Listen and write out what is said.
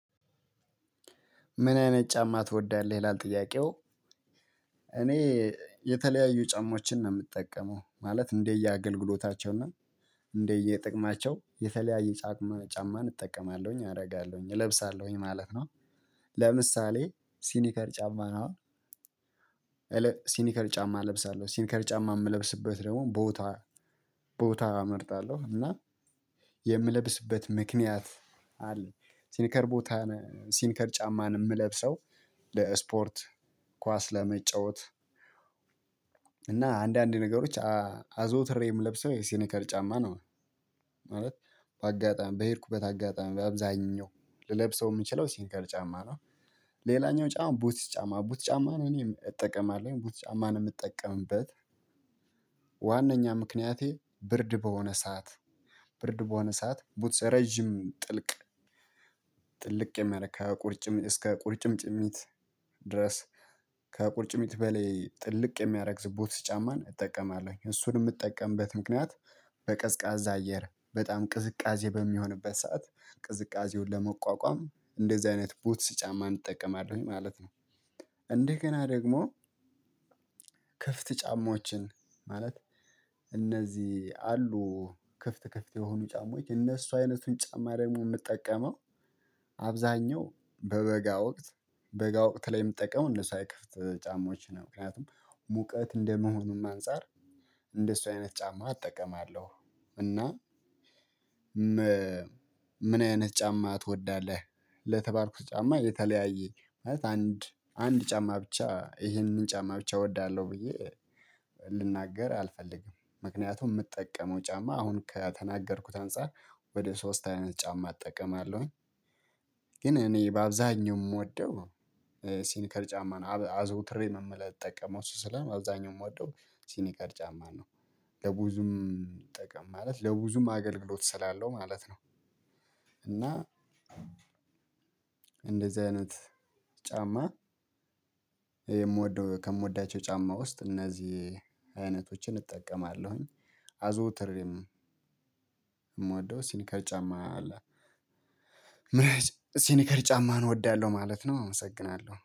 ምን አይነት ጫማ ትወዳለህ ይላል ጥያቄው? እኔ የተለያዩ ጫማዎችን ነው ምጠቀመው ማለት እንደየ አገልግሎታቸው እና እንደየጥቅማቸው የተለያየ ጫማ ጫማን እጠቀማለሁኝ አደርጋለሁኝ እለብሳለሁኝ ማለት ነው። ለምሳሌ ሲኒከር ጫማ ነው። አሁን ሲኒከር ጫማ እለብሳለሁ ሲኒከር ጫማ ምለብስበት ደግሞ ቦታ ቦታ እመርጣለሁ እና የምለብስበት ምክንያት አለ። ሲኒከር ቦታ ሲኒከር ጫማን ምለብሰው ለስፖርት ኳስ ለመጫወት። እና አንዳንድ ነገሮች አዘውትሬ ምለብሰው የሲኒከር ጫማ ነው። ማለት በአጋጣሚ በሄድኩበት አጋጣሚ በአብዛኛው ልለብሰው ምችለው ሲንከር ጫማ ነው። ሌላኛው ጫማ ቡትስ ጫማ ቡት ጫማ ነው እኔም እጠቀማለሁ አቡት ጫማ ነው ምጠቀምበት። ዋናኛ ምክንያቴ ብርድ በሆነ ሰዓት ብርድ በሆነ ሰዓት ቡትስ ረጅም ጥልቅ ጥልቅ የሚያደርግ ከቁርጭም እስከ ቁርጭም ጭሚት ድረስ። ከቁርጭሚት በላይ ጥልቅ የሚያረግ ቡትስ ጫማን እጠቀማለሁኝ እሱን ምጠቀምበት ምክንያት በቀዝቃዛ አየር በጣም ቅዝቃዜ በሚሆንበት ሰዓት ቅዝቃዜውን ለመቋቋም እንደዚህ አይነት ቡትስ ጫማ እንጠቀማለሁኝ ማለት ነው። እንደገና ደግሞ ክፍት ጫማዎችን። ማለት እነዚህ አሉ ክፍት ክፍት የሆኑ ጫማዎች እነሱ አይነቱን ጫማ ደግሞ ምጠቀመው አብዛኛው በበጋ ወቅት በጋ ወቅት ላይ ምትጠቀመው እንደሱ አይነት ከፍት ጫማዎች ነው። ምክንያቱም ሙቀት እንደመሆኑም አንፃር እንደሱ አይነት ጫማ እጠቀማለሁ። እና ምን አይነት ጫማ ትወዳለህ? ለተባልኩት ጫማ የተለያየ ማለት አንድ አንድ ጫማ ብቻ ይህንን ጫማ ብቻ እወዳለሁ ብዬ ልናገር አልፈልግም ምክንያቱም ምጠቀመው ጫማ አሁን ከተናገርኩት አንፃር ወደ ሶስት አይነት ጫማ እጠቀማለሁኝ። ግን እኔ በአብዛኛው ምወደው ሲኒከር ጫማ ነው አዘውትሬ ምለጠቀመው እሱ ስለሆነ አብዛኛው ምወደው ሲኒከር ጫማ ነው። ለብዙም ጥቅም ማለት ለብዙም አገልግሎት ስላለው ማለት ነው። እና እንደዚህ አይነት ጫማ የምወደው ከምወዳቸው ጫማ ውስጥ እነዚህ አይነቶችን እጠቀማለሁኝ። አዞትሬም ምወደው ሲኒከር ጫማ አለ። ምን ሲኒከር ጫማ እወዳለሁ ማለት ነው አመሰግናለሁ